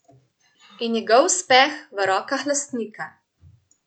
In njegov uspeh v rokah lastnika.